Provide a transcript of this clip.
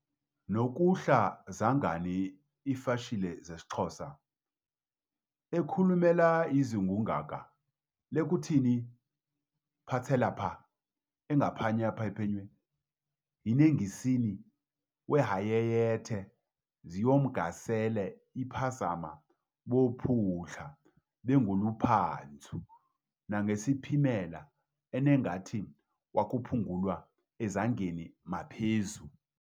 nokuhla zangani iFashile aXosa ekhulumelayezivungaka lekuthini phatselapha-engaphakaphanywe yinengisini wehayayethe zimyongasele iphazama bophutlaBenguluPhanshu nangaseziphimela enangathi wakaBapulungwa eZangeni maphazu.